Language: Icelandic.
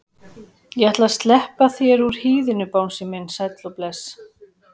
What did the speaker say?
Ég ætla að sleppa þér úr hýðinu bangsi minn sæll og bless.